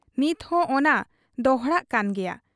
ᱱᱤᱛᱦᱚᱸ ᱚᱱᱟ ᱫᱚᱦᱲᱟᱜ ᱠᱟᱱ ᱜᱮᱭᱟ ᱾